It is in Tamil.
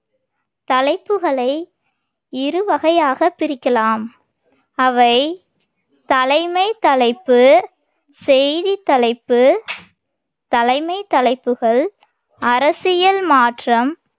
தலைப்புகளை இரு வகையாகப் பிரிக்கலாம். அவை தலைமைத் தலைப்பு, செய்தித் தலைப்பு. தலைமைத் தலைப்புகள் அரசியல் மாற்றம்,